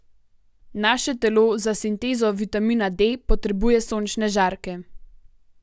Naše telo za sintezo vitamina D potrebuje sončne žarke.